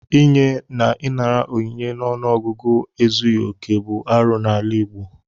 Inye na ịnara onyinye n'ọnụọgụgụ ezughị okè bụ arụ n'ala Igbo.